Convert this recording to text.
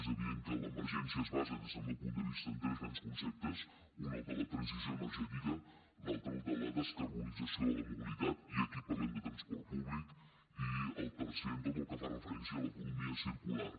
és evident que l’emergència es basa des del meu punt de vista en tres grans conceptes un el de la transició energètica l’altre el de la descarbonització de la mobilitat i aquí parlem de transport públic i el tercer tot el que fa referència a l’economia circular